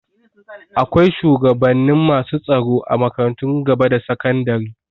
Akwai shugabannin masu tsaro a makarantun gaba da sakandari.